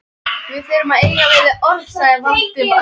Við þurfum að eiga við þig orð sagði Valdimar.